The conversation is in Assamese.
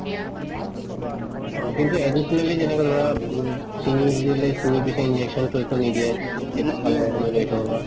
অ কিন্তু additionally যেনেকে ধৰা দিলে injection তো একো নিদিয়ে